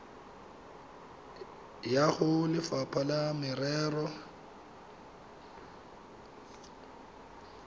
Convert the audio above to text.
ya go lefapha la merero